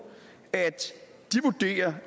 det her